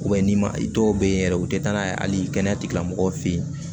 n'i ma i dɔw bɛ yen yɛrɛ u tɛ taa n'a ye hali kɛnɛya tigilamɔgɔw fɛ yen